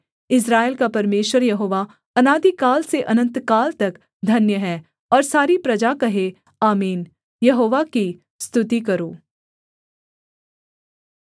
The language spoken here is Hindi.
इस्राएल का परमेश्वर यहोवा अनादिकाल से अनन्तकाल तक धन्य है और सारी प्रजा कहे आमीन यहोवा की स्तुति करो